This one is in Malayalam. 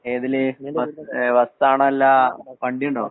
ഏതില് ബസാണോ അല്ല , വണ്ടിയുണ്ടോ?